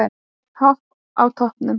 Enn Hopp á toppnum